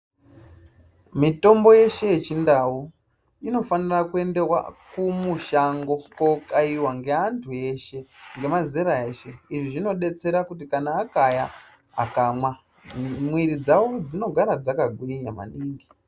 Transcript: Mitombo yeshe yechindau inofanira kuendewa kumushango kookaiwa ngeantu eshe, ngemazera eshe. Izvi zvinodetsera kuti kana akaya akamwa, mwiri dzawo dzinogara dzakagwinya maningi.